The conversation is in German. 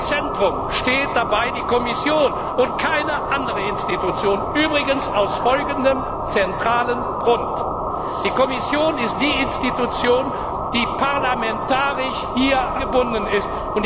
Und im Zentrum steht dabei die Kommission, und keine andere Institution, übrigens aus folgendem zentralen Grund Die Kommission ist die Institution, die parlamentarisch hier angebunden ist.